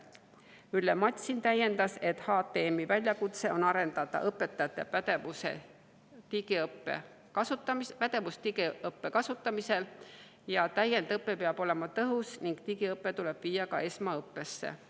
Ülle Matsin täiendas, et HTM‑i väljakutse on arendada õpetajate pädevust digiõppe kasutamisel, täiendõpe peab olema tõhus ning digiõpe tuleb viia ka esmaõppesse.